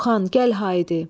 Orxan, gəl haydi!